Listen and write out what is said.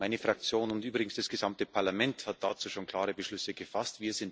Meine Fraktion und übrigens das gesamte Parlament haben dazu schon klare Beschlüsse gefasst.